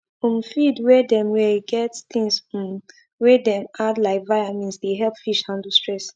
um feed them wey get things um wey dem add like viamins dey help fish handle stress